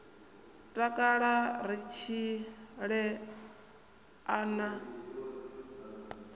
takala ri tshile a na